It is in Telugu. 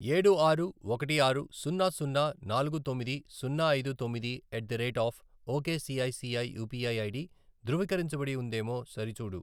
ఏడు ఆరు ఒకటి ఆరు సున్నా సున్నా నాలుగు తొమ్మిది సున్నా ఐదు తొమ్మిది at the rate of ok ICICI UPI ID ధృవీకరించబడి ఉందేమో సరిచూడు